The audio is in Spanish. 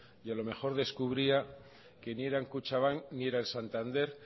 y a lo mejor descubría que ni eran kutxabank ni era el santander